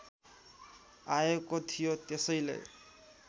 आएको थियो त्यसैले